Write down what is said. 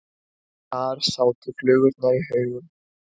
Þar sátu flugurnar í haugum.